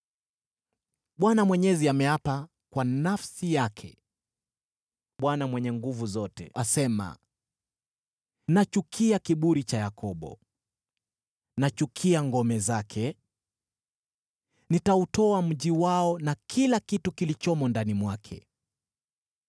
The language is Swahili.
Bwana Mwenyezi ameapa kwa nafsi yake mwenyewe: Bwana Mungu Mwenye Nguvu Zote asema: “Nachukia kiburi cha Yakobo, nachukia ngome zake; nitautoa mji wao na kila kitu kilichomo ndani mwake.”